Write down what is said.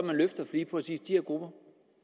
lige præcis de her grupper